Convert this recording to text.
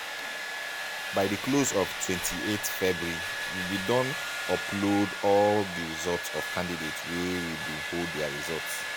by di close of 28th february we bin don upload all di results of candidates wey we bin hold dia results.